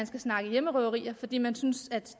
skal snakke hjemmerøverier fordi man åbenbart synes at